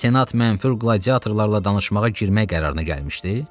Senat mənfur qladiatorlarla danışmağa girmək qərarına gəlmişdi?